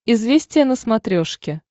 известия на смотрешке